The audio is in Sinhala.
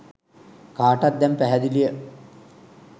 කාටත් දැන් පැහැදිලිය.